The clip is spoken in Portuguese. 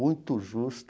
Muito justo.